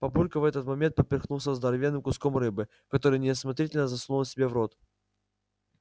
папулька в этот момент поперхнулся здоровенным куском рыбы который неосмотрительно засунул себе в рот